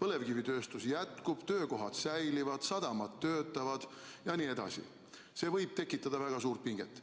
põlevkivitööstuse töö jätkub, töökohad säilivad, sadamad töötavad jne, võib see tekitada väga suurt pinget.